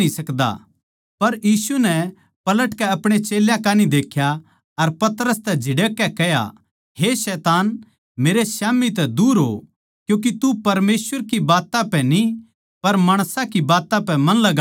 पर यीशु नै पलटकै आपणे चेल्यां कान्ही देख्या अर पतरस नै झिड़ककै कह्या हे शैतान मेरै स्याम्ही तै दूर हो क्यूँके तू परमेसवर की बात्तां पै न्ही पर माणसां की बात्तां पै मन लगावै सै